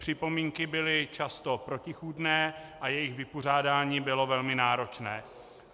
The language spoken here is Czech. Připomínky byly často protichůdné a jejich vypořádání bylo velmi náročné.